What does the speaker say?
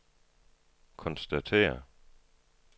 konstaterer